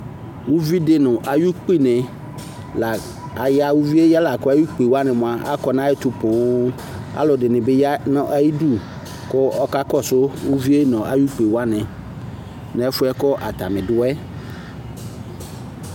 Uvidi nu ayu ukpini la ya uvie ya laku ukpiwa ya nayɛtu poo aluɛdini bi ya nu atamidu ku ɔkakɔsu uvie nu ayu ukpiwa nu ɛfuɛ atani duɛ